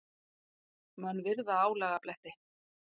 Menn virða álagabletti.